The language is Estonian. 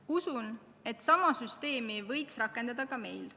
Usun, et sama süsteemi võiks rakendada ka meil.